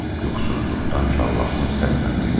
Yuxusuzluqdan kalllaşmış səslə dedi.